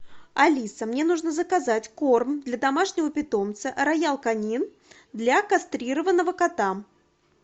алиса мне нужно заказать корм для домашнего питомца роял канин для кастрированного кота